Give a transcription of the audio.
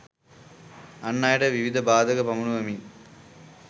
අන් අයට විවිධ බාධක පමුණුවමින්